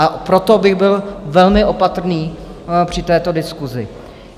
A proto bych byl velmi opatrný při této diskusi.